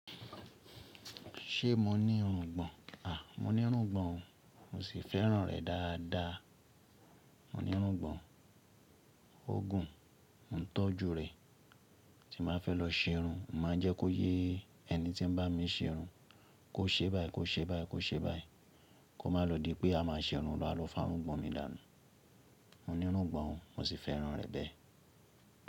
Ṣé mo ní irungbọn? Mo ní irungbọn o, mo sì fẹ́ràn rẹ̀ dáadáa. Mo ní irungbọn, ó gùn, mo ń tọ́jú rẹ̀. Tí màá fẹ́ lọ ṣerun, màá jẹ́ kó yé ẹni tí ń bá mi ṣerun. Kó ṣe báyìí, kó ṣe báyìí, kó ṣe báyìí. Kó má lọ di pé a máa ṣerun lọ́wọ́lọ́wọ́ fún irungbọn mi dànù. Mo ní irungbọn o, mo sì fẹ́ràn rẹ̀ bẹ́ẹ̀.